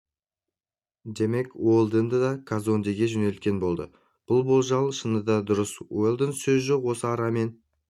демек уэлдонды да казондеге жөнелткен болды бұл болжал шынында да дұрыс уэлдон сөз жоқ осы арамен